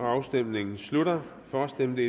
afstemningen slutter for stemte